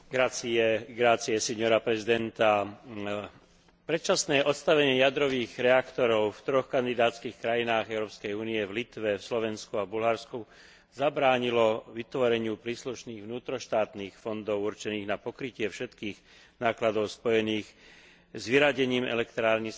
Predčasné odstavenie jadrových reaktorov v troch kandidátskych krajinách Európskej únie, v Litve, na Slovensku a v Bulharsku, zabránilo vytvoreniu príslušných vnútroštátnych fondov určených na pokrytie všetkých nákladov spojených s vyradením elektrární z prevádzky, a preto bola pomoc Spoločenstva nevyhnutná